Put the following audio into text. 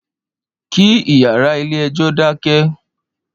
Ki iyàrá ilé èjò dákè